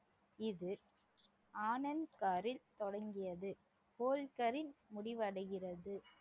இது ஆனந்த்கரில் தொடங்கியது போல்கரில் முடிவடைகிறது